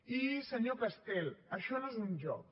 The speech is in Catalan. i senyor castel això no és un joc